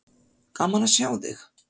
Gaman að sjá þig.